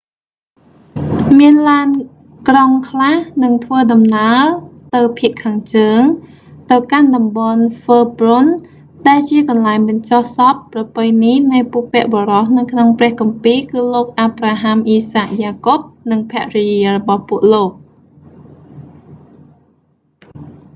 មានឡានក្រុងខ្លះនឹងធ្វើដំណើរទៅភាគខាងជើង ទៅកាន់តំបន់ហ៊ើប្រុន herbron ដែលជាកន្លែងបញ្ចុះសពប្រពៃណីនៃបុព្វបុរសនៅក្នុងព្រះគម្ពីរគឺលោកអាប្រាហាំ អ៊ីសាក យ៉ាកុប និងភរិយារបស់ពួកលោក